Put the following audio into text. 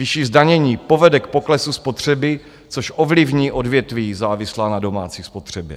Vyšší zdanění povede k poklesu spotřeby, což ovlivní odvětví závislá na domácí spotřebě.